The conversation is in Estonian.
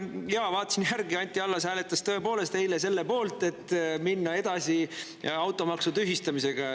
Ja ma vaatasin järgi, Anti Allas tõepoolest hääletas eile selle poolt, et minna edasi automaksu tühistamisega.